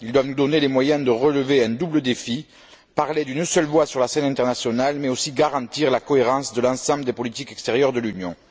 Ils doivent nous donner les moyens de relever un double défi parler d'une seule voix sur la scène internationale, mais aussi garantir la cohérence de l'ensemble des politiques extérieures de l'Union.